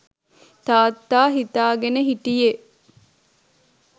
තාත්තා හිතාගෙන හිටියෙ